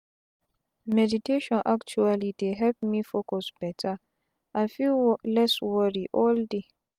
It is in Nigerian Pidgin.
meditation actuali dey help me focus beta and feel less wori all day.